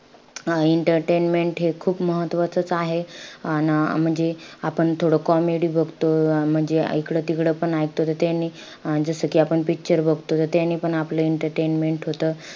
अं entertainment हे खूप महत्वाचंच असं आहे. अन अं म्हणजे आपण थोडं comedy बघतो. म्हणजे इकडे तिकडे पण ऐकतो त त्यानी, अं जसं कि आपण picture बघतो. आणि त्यानीपण आपलं entertainment होतं.